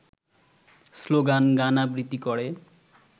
স্লোগান-গান-আবৃত্তি করে